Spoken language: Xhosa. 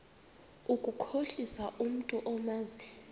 ukukhohlisa umntu omazi